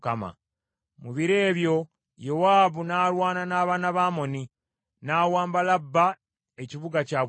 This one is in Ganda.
Mu biro ebyo Yowaabu n’alwana n’abaana ba Amoni, n’awamba Labba ekibuga kyabwe ekikulu.